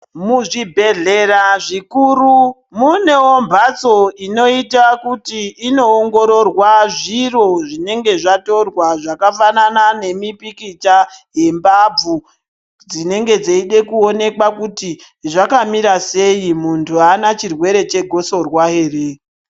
Muzvibhedhlera zvikuru munewo mbatso inoita kuti inoongororwa zviro zvinenge zvatorwa zvakafanana nemipikicha yembabvu dzinenge dzeide kuonekwa kuti zvakamira sei, muntu haana chirwere chegosorwa ere.